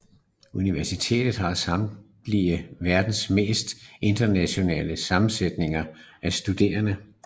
Universitetet har samtidig verdens mest internationale sammensætning af studerende